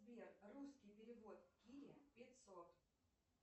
сбер русский перевод кире пятьсот